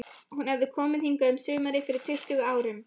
Hún hafði komið hingað um sumar fyrir tuttugu árum.